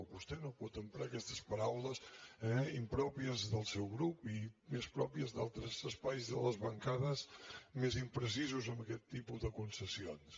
vostè no pot emprar aquestes paraules eh impròpies del seu grup i més pròpies d’altres espais de les bancades més imprecisos amb aquest tipus de concessions